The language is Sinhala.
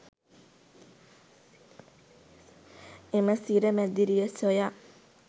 එම සිර මැදිරිය සොයා